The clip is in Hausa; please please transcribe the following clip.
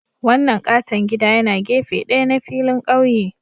Wannan katon gida yana gefe ɗaya na filin ƙauye